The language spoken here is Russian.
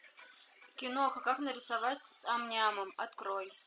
киноха как нарисовать с ам нямом открой